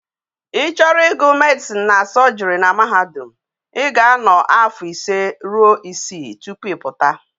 I choro igu medicine na surgery na mahadum,I ga ano afo ise ruo isii topu i puta